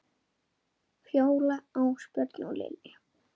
Fjóla, Ásbjörn og Lilja.